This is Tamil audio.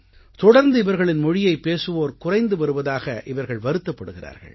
தொடர்ந்து இவர்களின் மொழியைப் பேசுவோர் குறைந்து வருவதாக இவர்கள் வருத்தப்படுகிறார்கள்